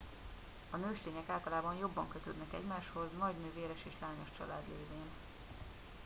a nőstények általában jobban kötődnek egymáshoz nagy nővéres és lányos család lévén